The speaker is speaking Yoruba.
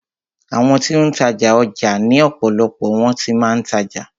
Àwọn ti ó ń tajà, ọjà ni ọ̀pọ̀lọpọ̀ wọn ti máa ń tajà.